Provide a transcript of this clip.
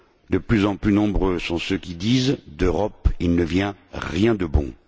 De plus en plus nombreux sont ceux qui disent D'Europe il ne vient rien de bon.